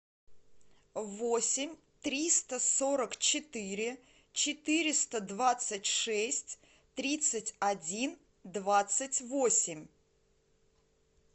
восемь триста сорок четыре четыреста двадцать шесть тридцать один двадцать восемь